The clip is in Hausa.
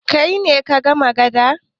Kai ne ka kama gada?